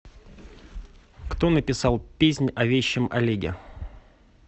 кто написал песнь о вещем олеге